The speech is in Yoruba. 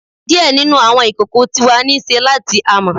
Diẹ ninu awọn ikoko ti wa ni ṣe lati amọ